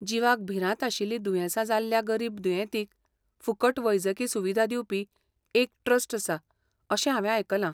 जिवाक भिरांत आशिल्लीं दुयेंसां जाल्ल्या गरीब दुयेंतींक फुकट वैजकी सुविधा दिवपी एक ट्रस्ट आसा अशें हांवें आयकलां.